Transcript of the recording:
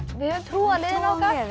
höfum trú á liðinu